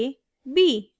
b